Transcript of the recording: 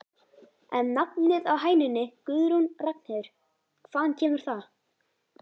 En nafnið á hænunni Guðrún Ragnheiður, hvaðan kemur það?